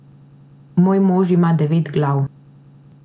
Moj mož ima devet glav.